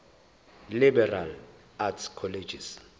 liberal arts colleges